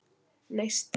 Neisti